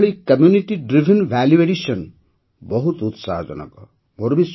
ଏହିଭଳି community driven value addition ବହୁତ ଉତ୍ସାହଜନକ